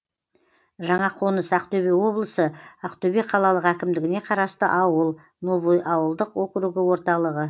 жаңақоныс ақтөбе облысы ақтөбе қалалық әкімдігіне қарасты ауыл новый ауылдық округі орталығы